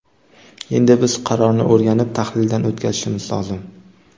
Endi biz qarorni o‘rganib, tahlildan o‘tkazishimiz lozim.